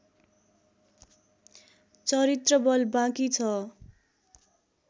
चरित्रबल बाँकी छ